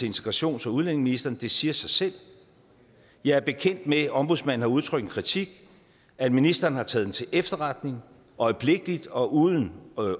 integrationsministeren det siger sig selv jeg er bekendt med at ombudsmanden har udtrykt en kritik at ministeren har taget den til efterretning øjeblikkeligt og uden